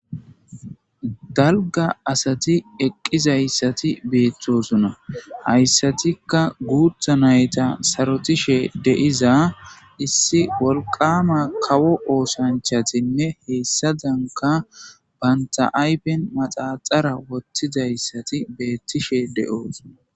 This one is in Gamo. Dalga asati eqqizayssati beetthosuna hayssatikka guutha nayta sarotishe deiza issi wolqama kawo oosanchatinne heessadanka banta'aypen maxaxara wottizayssati beettishe de'oosuna.